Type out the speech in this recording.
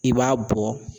I b'a bɔ